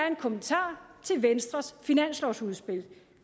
en kommentar til venstres finanslovsudspil